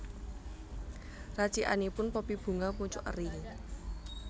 Racikanipun Poppy Bunga mucuk eri